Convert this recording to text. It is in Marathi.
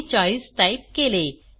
मी 40 टाईप केले